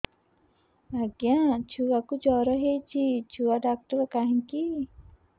ଆଜ୍ଞା ଛୁଆକୁ ଜର ହେଇଚି ଛୁଆ ଡାକ୍ତର କାହିଁ କି